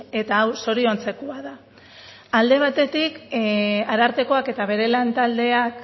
eta hau zoriontzekoa da alde batetik arartekoak eta bere lantaldeak